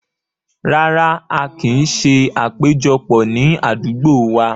Rárá, a kin ṣé àpéjọpọ̀ ni àdúgbò wá.